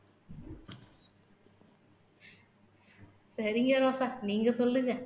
சரிங்க ரோசா நீங்க சொல்லுங்க